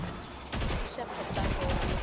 i xa nkhaqato wa le